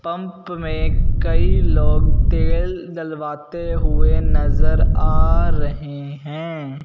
Pump में कई लोग तेल डलवाते हुए नजर आ रहे हैं।